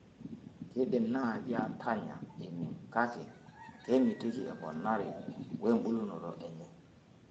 Keidim naaji atanya ening kake kemitiki eponari wembulunoto enye.